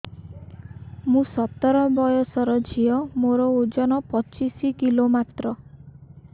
ମୁଁ ସତର ବୟସର ଝିଅ ମୋର ଓଜନ ପଚିଶି କିଲୋ ମାତ୍ର